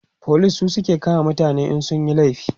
police su suke kama mutane in sun Yi laifi